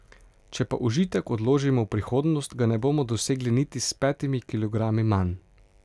Če pa užitek odložimo v prihodnost, ga ne bomo dosegli niti s petimi kilogrami manj.